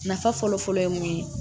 Nafa fɔlɔ-fɔlɔ ye mun ye